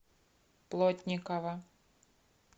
плотникова